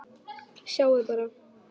Sjáiði bara!